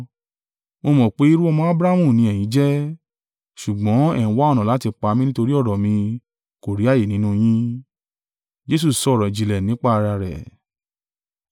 Mo mọ̀ pé irú-ọmọ Abrahamu ni ẹ̀yin jẹ́; ṣùgbọ́n ẹ ń wá ọ̀nà láti pa mí nítorí ọ̀rọ̀ mi kò rí ààyè nínú yín. Jesu sọ ọ̀rọ̀-ìjìnlẹ̀ nípa ara rẹ̀.